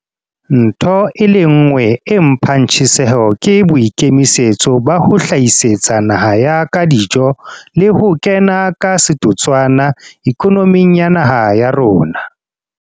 Ntho e le nngwe e mphang tjheseho ke boikemisetso ba ho hlahisetsa naha ya ka dijo le ho kena ka setotswana ikonoming ya naha ya rona.